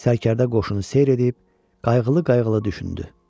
Sərkərdə qoşunu seyr edib qayğılı-qayğılı düşündü.